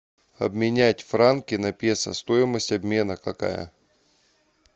обменять франки на песо стоимость обмена какая